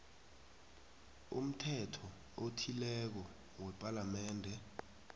umthetho othileko wepalamende